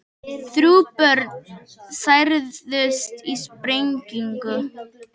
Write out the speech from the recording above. Þrjú börn særðust í sprengingu